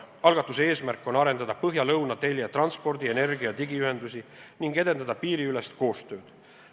Algatuse eesmärk on arendada põhja-lõuna telje transpordi-, energia- ja digiühendusi ning edendada piiriülest koostööd.